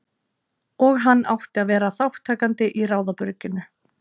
Og hann átti að vera þátttakandi í ráðabrugginu.